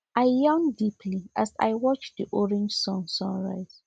i yawn deeply as i watch the orange sun sun rise